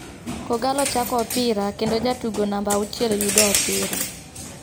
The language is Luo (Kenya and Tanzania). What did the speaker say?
Kogallo chako opira kendo ja tugo namba auchiel yudo opira.